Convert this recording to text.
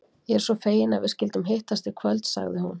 Ég er svo fegin að við skyldum hittast í kvöld, sagði hún.